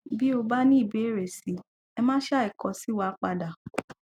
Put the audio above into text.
bí o bá ní ìbéèrè sí i ẹ má ṣàì kọ sí wa padà